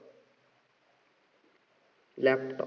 laptop